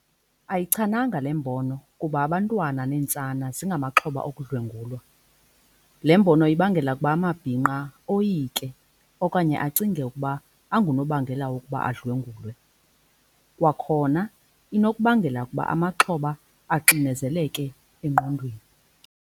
Ayichananga le mbono kuba abantwana neentsana zingamaxhoba okudlwengulwa. Le mbono ibangela ukuba amabhinqa oyike okanye acinge ukuba angunobangela wokuba adlwengulwe. Kwakhona inokubangela ukuba amaxhoba axinezeleke engqondweni.